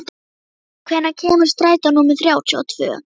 Grímey, hvenær kemur strætó númer þrjátíu og tvö?